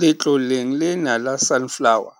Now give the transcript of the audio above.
Letloleng lena la Sunflower,